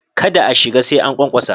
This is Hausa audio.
Kada a shiga sai an ƙwaƙwasa.